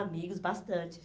Amigos, bastante.